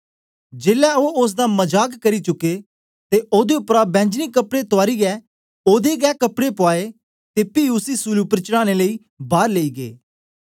जेलै ओ ओसदा मजाक करी चुके ते ओदे उपरा बैंजनी कपड़े तुआरीयै ओदे गै कपड़े पुआए ते पी उसी सूली उपर चढ़ाने लेई बार लेई गै